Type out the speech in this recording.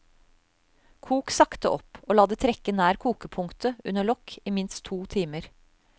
Kok sakte opp og la det trekke nær kokepunktet under lokk i minst to timer.